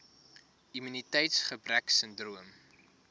immuniteits gebrek sindroom